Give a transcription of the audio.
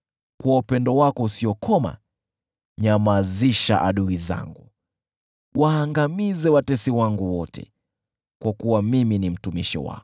Kwa upendo wako usiokoma, nyamazisha adui zangu; waangamize watesi wangu wote, kwa kuwa mimi ni mtumishi wako.